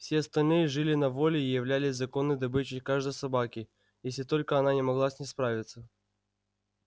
все остальные жили на воле и являлись законной добычей каждой собаки если только она не могла с ней справиться